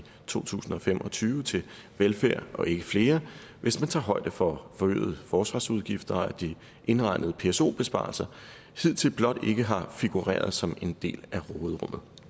to tusind og fem og tyve til velfærd og ikke flere hvis man tager højde for forøgede forsvarsudgifter og at de indregnede pso besparelser hidtil blot ikke har figureret som en del